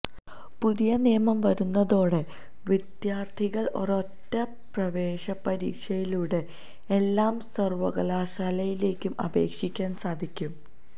പുതിയ നിയമം വരുന്നതോടെ വിദ്യാര്ത്ഥികള് ഒരൊറ്റ പ്രവേശന പരീക്ഷയിലൂടെ എല്ലാ സര്വ്വകലാശാലയിലേക്കും അപേക്ഷിക്കാന് സാധിക്കും